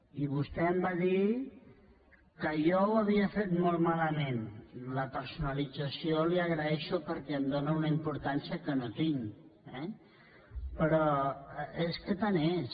i vostè em va dir que jo ho havia fet molt malament la personalització la hi agraeixo perquè em dóna una importància que no tinc eh però és que tant és